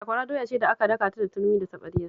Sakwara doya ce da aka daka ta da turmi da taɓarya